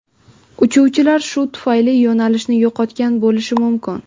Uchuvchilar shu tufayli yo‘nalishni yo‘qotgan bo‘lishi mumkin.